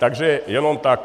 Takže jenom tak.